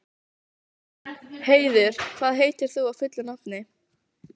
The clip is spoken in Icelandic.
Heiður, hvað heitir þú fullu nafni?